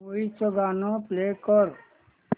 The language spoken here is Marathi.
मूवी चं गाणं प्ले कर